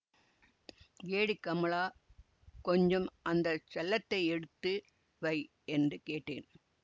ஏடி கமலா கொஞ்சம் அந்த செல்லத்தை எடுத்து வை என்று கேட்டேன்